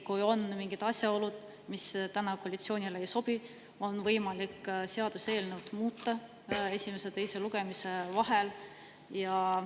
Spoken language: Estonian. Kui on mingid asjaolud, mis koalitsioonile ei sobi, siis esimese ja teise lugemise vahel on võimalik seaduseelnõu muuta.